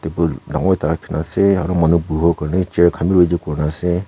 dangor ekta rakhikena ase aro manu buhwo Karnae chair khan bhi ready kurina ase.